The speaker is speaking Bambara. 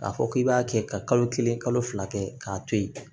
K'a fɔ k'i b'a kɛ ka kalo kelen kalo fila kɛ k'a to yen